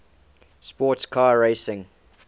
sports car racing